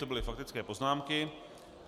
To byly faktické poznámky.